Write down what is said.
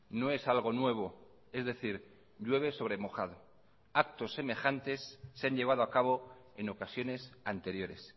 no es algo nuevo es decir llueve sobre mojado actos semejantes se han llevado a cabo en ocasiones anteriores